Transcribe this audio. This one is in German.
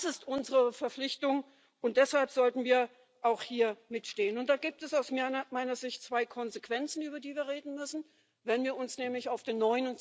Das ist unsere Verpflichtung, und deshalb sollten wir auch hier mit dafür einstehen, und da gibt es aus meiner Sicht zwei Konsequenzen, über die wir reden müssen Wenn wir uns nämlich auf den